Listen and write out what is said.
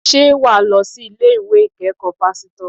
Sé wàá lo sí ilé-iwé ìkékòó pásítò?